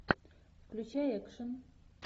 включай экшен